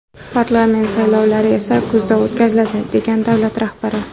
Parlament saylovlari esa kuzda o‘tkaziladi”, degan davlat rahbari.